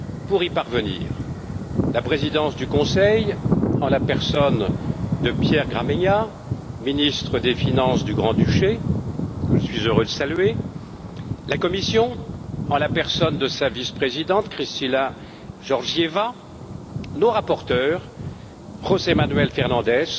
pour y parvenir la présidence du Conseil en la personne de Pierre Gramegna, ministre des finances du Grand Duché, que je suis heureux de saluer, la Commission, en la personne de sa vice présidente, Kristalina Georgieva, nos rapporteurs, José Manuel Fernandes